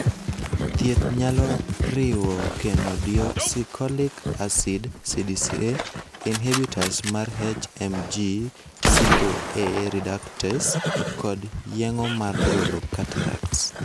Thieth nyalo riwo chenodeoxycholic acid (CDCA), inhibitors mar HMG CoA reductase, kod yeng'o mar golo cataracts.